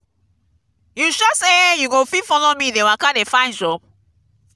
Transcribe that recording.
you sure sey you go fit follow me dey waka dey find job?